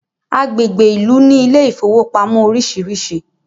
agbègbè Ilú ní Ilé ìfowópamọ́ orisirisi